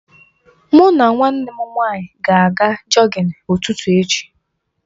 Mụ na nwanne m nwaanyị ga aga jọgịn ụtụtụ echi.